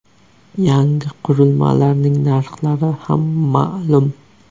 Yangi qurilmalarning narxlari ham ma’lum .